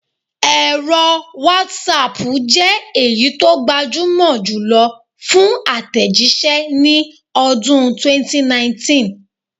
Ẹ̀rọ wọ́saapù jẹ́ èyí tó gbajúmọ̀ jùlọ fún àtẹ̀jíṣẹ́ ní ọdún 2019